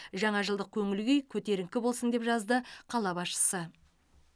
жаңа жылдық көңіл күй көтеріңкі болсын деп жазды қала басшысы